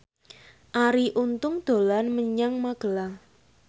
Arie Untung dolan menyang Magelang